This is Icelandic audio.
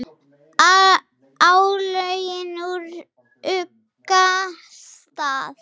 álögin úr ugga stað